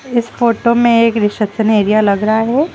इस फोटो में एक रिसेप्शन एरिया लग रहा है।